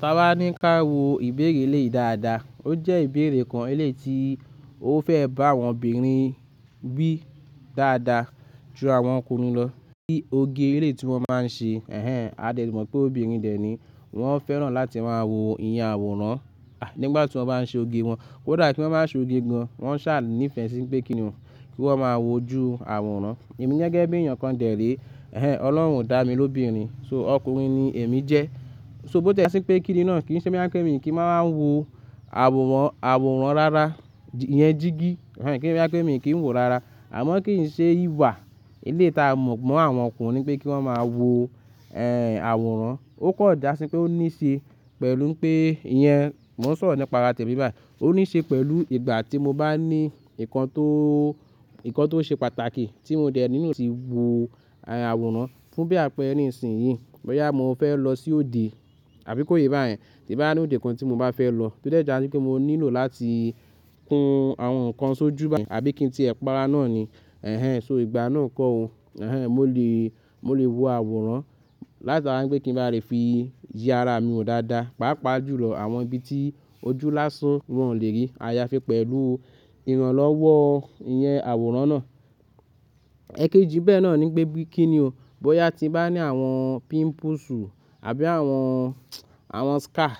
Ta bani ká wò ìbéèrè eleyi dáadáa. O jẹ́ ìbéèrè kan lé tí o fẹ́ bá àwọn obìnrin wí dáadáa ju àwọn ọkùnrin lọ ní òge ré tí wọ́n máa ń ṣe. Ẹ̀hẹn, a dẹ̀ mọ̀ pé obìnrin dẹ̀ ní wọ́n fẹ́ràn láti máa wo ìyẹn àwòrán nígbà tí wọ́n bá ń ṣe òge wọn. Ko da ki wọ́n máa ń ṣe òge gan, wọ́n ṣà ní ìfẹ́ sí pé kíni o, kí wọ́n máa wo ju àwòrán. Èmi gẹ́gẹ́ bí èèyàn kan dẹ̀ ré, ẹ̀hẹn, Ọlọ́run o dá mi lóbìnrin, so ọkùnrin ni èmi jẹ́. So bó ti jásí pé kíni náà kí n ṣe boya kí èmi kí n máa wo àwòrán, àwòrán rara, ìyẹn jígí, ẹ̀hẹn, kí n ṣe boya pe nkí èmi kí n wo rara. Àmọ́ kí n ṣe ìwà ilé ta mọ̀ mọ́ àwọn ọkùnrin pé kí wọ́n máa wo, ẹ́hẹn, àwòrán. O kò dà sí pé ó níṣe pẹ̀lú pé ìyẹn, mo nsọ̀rọ̀ nípa ara temi báyìí. O níṣe pẹ̀lú ìgbà tí mo bá ní nǹkan tó, nǹkan tó ṣe pàtàkì tí mo dẹ̀ nílò ti wo àwòrán fún bí àpẹẹrẹ nísinsìnyí. Bóyá mo fẹ́ lọ sí òde àbí kóye báyẹn. Tí bá ní òde kan tí mo bá fẹ́ lọ, to de já sí pé mo nílò láti kun àwọn nǹkan sójú báyẹn, àbí kí n tì ẹ̀pàrà náà ni. Ẹ̀hẹn, so ìgbà náà kọ́ o. Ẹ̀hẹn, mo lè, mo lè wo àwòrán látara pé kí n ba lè fi ya ara mi wo dáadáa, pàápàá jùlọ àwọn ibi tí ojú lásán wọn ò lè rí. A ya fi pẹ̀lú ìrànlọ́wọ́ ìyẹn àwòrán náà. Ẹ̀kẹ́jì bẹ́ẹ̀ náà ni pé bí kíni o, bóyá tí bá ní àwọn pimples àbí àwọn, àwọn scar,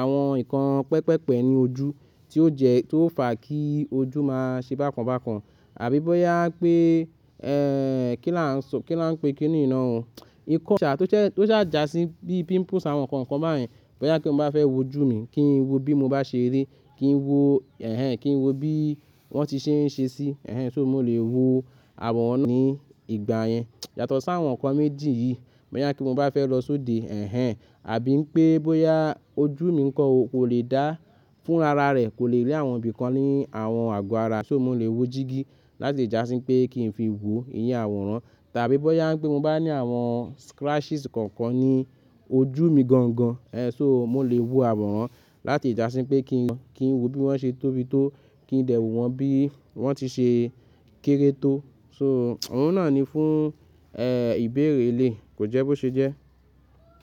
àwọn nǹkan pẹpẹpẹ ní ojú tí ó jẹ́, tí ó fà kí ojú máa ṣe bákan bákan. Àbí bóyá pé, ẹ́hẹn, kí là ń sọ, kí là ń pé kíni nna o. N kò ṣà tó jẹ́, tó ṣàjà sí bí pimples àwọn nǹkan kan báyẹn. Bóyá pé mo bá fẹ́ wo ojú mi kí n wo bí mo bá ṣe rí, kí n wo, ẹ̀hẹn, kí n wo bí wọ́n ti ṣe ń ṣe sí, ẹ̀hẹn, so mo lè wo àwòrán náà ní ìgbà yẹn. Yàtọ̀ sáwọn nǹkan méjì yìí. Bóyá kí mo bá fẹ́ lọ sóde, ẹ̀hẹn, àbí ń pé bóyá ojú mi nǹkan kò lè dá fún rara rẹ̀, kò lè rí àwọn ibi kan ní àwọn àgọ́ ara, so mo lè wo jígí láti ìjà sí pé kí n fi wo ìyẹn àwòrán. Tàbí bóyá ń pé mo bá ní àwọn scratches kankan ní ojú mi gangan, ẹ́hẹn, so mo lè wo àwòrán láti ìjà sí pé kí n wo, kí n wo bí wọ́n ṣe tóbi tó, kí n lè wo wọn bí wọ́n ti ṣe kéré tó. So oun náà ni fún, ẹ́hẹn, ìbéèrè elei, kò jẹ́ bó ṣe jẹ́.